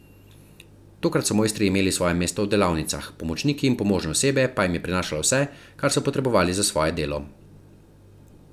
Takrat so mojstri imeli svoje mesto v delavnicah, pomočniki in pomožno osebje pa jim je prinašalo vse, kar so potrebovali za svoje delo.